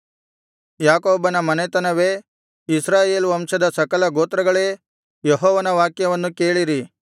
ಯಾಕೋಬನ ಮನೆತನವೇ ಇಸ್ರಾಯೇಲ್ ವಂಶದ ಸಕಲ ಗೋತ್ರಗಳೇ ಯೆಹೋವನ ವಾಕ್ಯವನ್ನು ಕೇಳಿರಿ